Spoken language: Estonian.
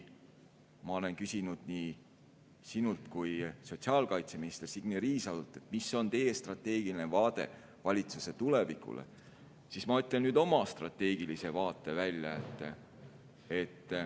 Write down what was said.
Ma olen küsinud nii sinult kui ka sotsiaalkaitseminister Signe Riisalolt, mis on teie strateegiline vaade valitsuse tulevikule, ja ma ütlen nüüd välja oma strateegilise vaate.